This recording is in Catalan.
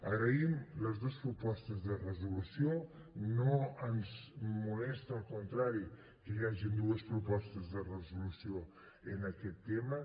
agraïm les dos propostes de resolució no ens molesta al contrari que hi hagin dues propostes de resolució en aquest tema